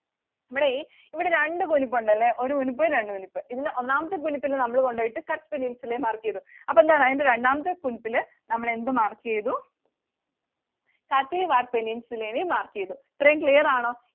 ഇവിടെ ഇവിടെ രണ്ട് കുനുപ്പ് ഉണ്ടല്ലേ ഒരു കുനുപ്പ് രണ്ട് കുനുപ്പ്. ഒന്നാമത്തെ കുനുപ്പില് നമ്മൾ കൊണ്ടുപോയിട്ട് Kutch Peninsula നെ mark ചെയ്തു. അപ്പൊ എന്താണ്? രണ്ടാമത്തെ കുനുപ്പില് നമ്മൾ എന്ത് mark ചെയ്തു? Kathiawar Peninsula നെയും mark ചെയ്തു. ഇത്രയും clear ആണോ?